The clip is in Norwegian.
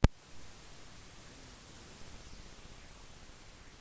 denne teorien motsier påstanden om at månen er helt fri